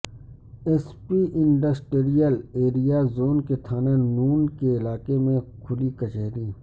S P industrial area zone کی تھانہ نون کے علاقے میں کھلی کچہری